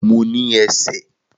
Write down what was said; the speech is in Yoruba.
Mo ní ẹsẹ̀